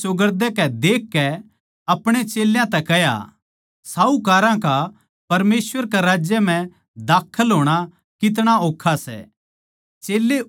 यीशु नै चौगरदेकै देखकै आपणे चेल्यां तै कह्या साहूकारां का परमेसवर कै राज्य म्ह बड़ना कितना ओक्खा सै